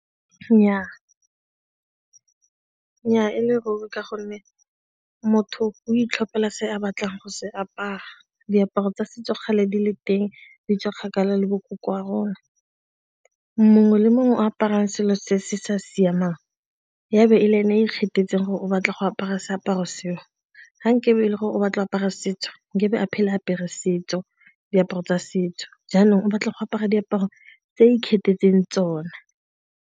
Nnyaa e le robe ka gonne motho o itlhophela se a batlang go se apara diaparo tsa setso gale di le teng di tswa kgakala le bo ko kwa rona. Mongwe le mongwe o aparang selo se se sa siamang ya be e le ene se se kgethegileng gore o batla go apara seaparo seo ga nkabe e le gore o batla apara setso nkabe a apere diaparo tsa setso, jaanong o batla go apara diaparo tse a ikgethetseng tsona.